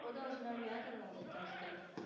ਓਹਦਾ ਉਸ ਨਾਲ ਵਿਆਹ ਦਿੱਤਾ ਸੀ ਕਹਿੰਦੇ